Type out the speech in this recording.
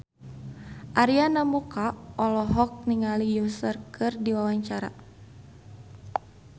Arina Mocca olohok ningali Usher keur diwawancara